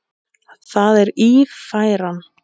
Það er Ífæran.